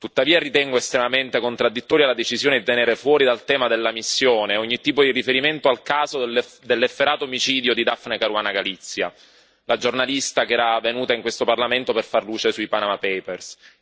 Tuttavia, ritengo estremamente contraddittoria la decisione di tenere fuori dal tema della missione ogni tipo di riferimento al caso dell'efferato omicidio di Dafne Caruana Galizia, la giornalista che era venuta in questo Parlamento per far luce sui Panama Papers.